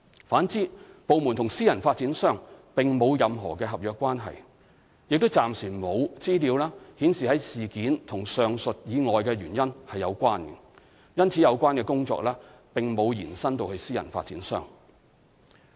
反之，部門與私人發展商並沒有任何合約關係，亦暫時沒有資料顯示事件與上述以外的原因有關，因此有關的工作並沒有延伸至私人發展商。